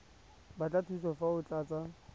batla thuso fa o tlatsa